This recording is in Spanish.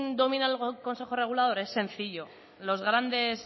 domina el consejo regulador es sencillo los grandes